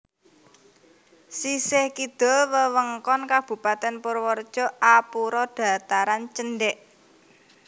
Sisih kidul wewengkon Kabupatèn Purwareja arupa dhataran cendhèk